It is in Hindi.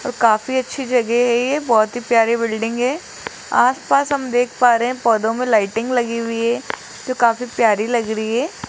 और काफी अच्छी जगह है ये बहुत ही प्यारी बिल्डिंग है आसपास हम देख पा रहे हैं पौधों में लाइटिंग लगी हुई है जो काफी प्यारी लग रही है।